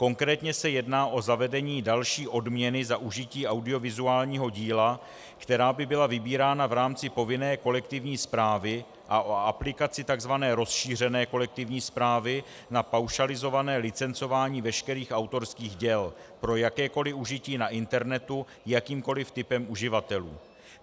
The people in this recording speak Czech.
Konkrétně se jedná o zavedení další odměny za užití audiovizuálního díla, která by byla vybírána v rámci povinné kolektivní správy, a o aplikaci tzv. rozšířené kolektivní správy na paušalizované licencování veškerých autorských děl pro jakékoliv užití na internetu jakýmkoliv typem uživatelů.